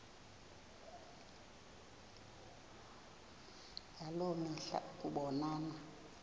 ngaloo mihla ukubonana